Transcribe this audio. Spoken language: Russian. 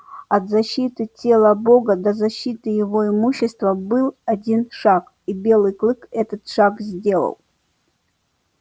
от защиты тела бога до защиты его имущества был один шаг и белый клык этот шаг сделал